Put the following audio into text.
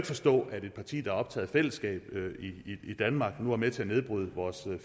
forstå at et parti der er optaget af fællesskabet i danmark nu er med til at nedbryde vores